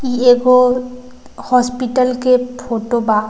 इ एगो हॉस्पिटल के फोटो बा।